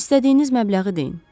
İstədiyiniz məbləği deyin.